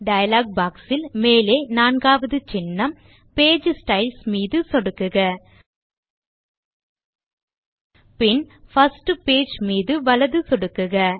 dialogue boxஇல் மேலே நான்காவது சின்னம் பேஜ் ஸ்டைல்ஸ் மீது சொடுக்குக பின் பிர்ஸ்ட் பேஜ் மீது வலது சொடுக்குக